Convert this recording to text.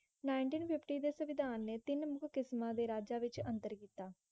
Nineteen fifty ਦੇ ਸਵਿਧਾਨ ਨੇ ਤੀਨ ਮੁਖ ਕਿਸਮਾਂ ਰਾਜਾ ਵਿੱਚ ਅੰਤਰ ਕੀਤਾ